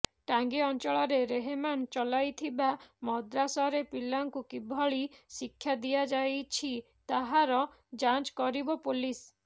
ଟାଙ୍ଗୀ ଅଞ୍ଚଳରେ ରେହମାନ ଚଲାଇଥିବା ମଦ୍ରାସାରେ ପିଲାଙ୍କୁ କିଭଳି ଶିକ୍ଷା ଦିଆଯାଇଛି ତାହାର ଯାଞ୍ଚ କରିବ ପୋଲିସ